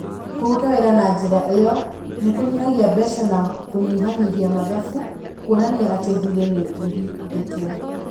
Kũruta wĩra na njĩra ĩyo nĩ kũnyihagia mbeca na kũnyihanyihia mathabu, kuonania atĩ thirĩ nĩ ũhingĩtwo.